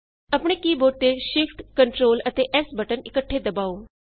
ਆਪਣੇ keyboard ਤੇ Shift Ctrl AMP S button ਇੱਕਠੇ ਦਬਾਉ